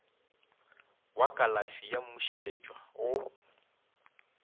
wa kalafi ya mmušeletšwa go